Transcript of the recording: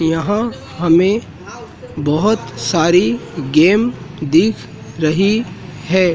यहां हमें बहोत सारी गेम दिख रही है।